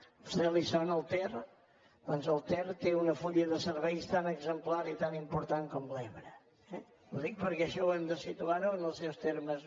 a vostè li sona el ter doncs el ter té un full de serveis tan exemplar i tan important com l’ebre eh ho dic perquè això ho hem de situar en els seus termes